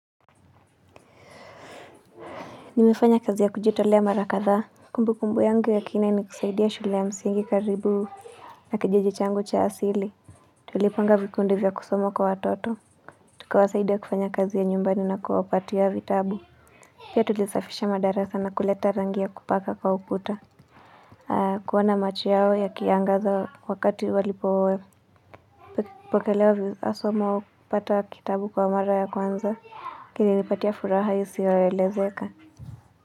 Nimefanya kazi ya kujitolea mara kadhaa Kumbukumbu yangu ya kina ni kusaidia shule ya msingi karibu na kijiji changu cha asili Tulipanga vikundi vya kusoma kwa watoto Tukawasaidia kufanya kazi ya nyumbani na kuwaapatia vitabu Pia tulisafisha madarasa na kuleta rangi ya kupaka kwa ukuta kuona macho yao yakiangaza wakati walipo Pokelewa hasa wakipati kitabu kwa mara ya kwanza, kinilipatia furaha isioelezeka.